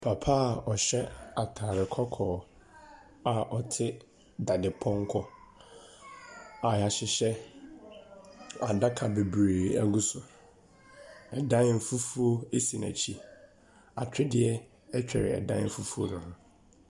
Papa a ɔhyɛ ataade kɔkɔɔ a ɔte dadepɔmkɔ a yɛahyehyɛ adaka bebire agu so. ℇdan fufuo si n’akyi. Atwedeɛ twere ɛdan fufuo no ho.